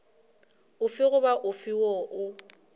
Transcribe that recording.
ofe goba ofe woo o